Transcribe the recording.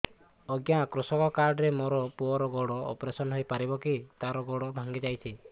ଅଜ୍ଞା କୃଷକ କାର୍ଡ ରେ ମୋର ପୁଅର ଗୋଡ ଅପେରସନ ହୋଇପାରିବ କି ତାର ଗୋଡ ଭାଙ୍ଗି ଯାଇଛ